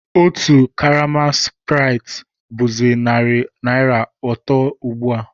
Otu karama spráitị bụ̀zị narị naira atọ ugbu a